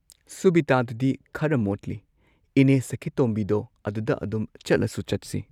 ꯁꯨꯕꯤꯇꯥꯗꯨꯗꯤ ꯈꯔ ꯃꯣꯠꯂꯤ ꯏꯅꯦ ꯁꯈꯤꯇꯣꯝꯕꯤꯗꯣ ꯑꯗꯨꯗ ꯑꯗꯨꯝ ꯆꯠꯂꯁꯨ ꯆꯠꯁꯤ